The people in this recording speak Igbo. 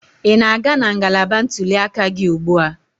Ị na-aga na ngalaba ntuli aka gị ugbu a?